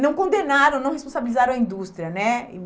não condenaram, não responsabilizaram a indústria né. E